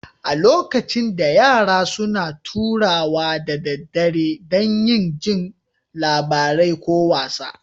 A lokacin da, yara suna taruwa da daddare dan yin jin labarai ko wasa.